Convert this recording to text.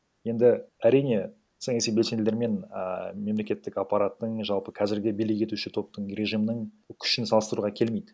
енді әрине саяси белсенділермен ааа мемлекеттік аппаратының жалпы кәзіргі билік етуші топтың режимнін күшін салыстыруға келмейді